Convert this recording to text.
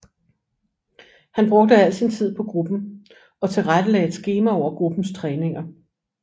Han brugte al sin tid på gruppen og tilrettelagde et skema over gruppens træninger